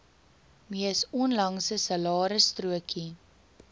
mees onlangse salarisstrokie